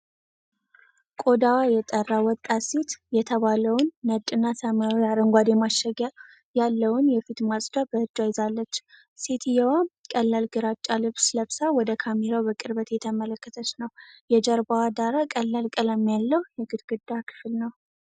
ቆዳዋ የጠራ ወጣት ሴት CeraVe Foaming Facial Cleanser የተባለውን ነጭና ሰማያዊ/አረንጓዴ ማሸጊያ ያለውን የፊት ማጽጃ በእጇ ይዛለች። ሴትየዋ ቀላል ግራጫ ልብስ ለብሳ ወደ ካሜራው በቅርበት እየተመለከተች ነው። የጀርባው ዳራ ቀላል ቀለም ያለው የግድግዳ ክፍል ነው።